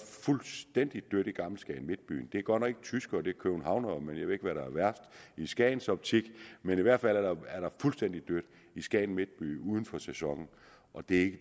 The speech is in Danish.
fuldstændig dødt i gammel skagen i midtbyen det er godt nok ikke tyskere det er københavnere men jeg ved ikke hvad der er værst i skagens optik men i hvert fald er der fuldstændig dødt i skagen midtby uden for sæsonen og det